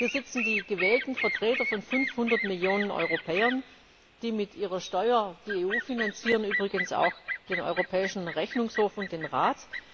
Hier sitzen die gewählten Vertreter von 500 Millionen Europäern, die mit ihrer Steuer die EU finanzieren, übrigens auch den Europäischen Rechnungshof und den Rat.